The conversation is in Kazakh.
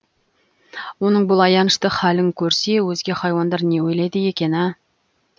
оның бұл аянышты халін көрсе өзге хайуандар не ойлайды екен ә